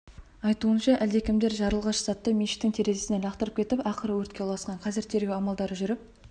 айтуынша әлдемкімдер жарылғыш затты мешіттің терезесінен лақтырып кетіп ақыры өртке ұласқан қазір тергеу амалдары жүріп